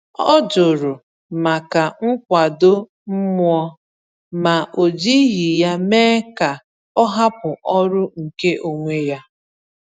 Ọ jụrụ maka nkwado mmụọ, ma o jighị ya mee ka ọ hapụ ọrụ nke onwe ya.